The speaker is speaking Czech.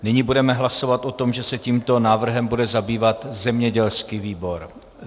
Nyní budeme hlasovat o tom, že se tímto návrhem bude zabývat zemědělský výbor.